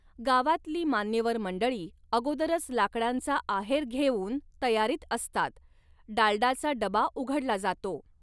गावातली मान्यवर मंडळी अगोदरच लाकडांचा आहेर घेवुन तयारीत असतात, डालडाचा डबा उघडला जातो.